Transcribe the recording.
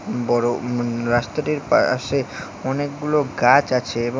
বড় উম রাস্তাটির পাআশে অনেকগুলো গাছ আছে এবং--